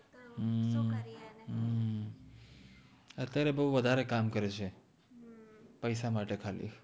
અત્યારે બૌ વધારે કામ કરે છે પૈસા માતે ખાલિ